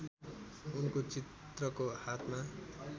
उनको चित्रको हातमा